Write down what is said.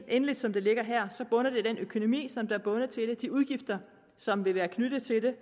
endeligt som det ligger her bunder det i den økonomi som er bundet til det nemlig de udgifter som vil være knyttet til det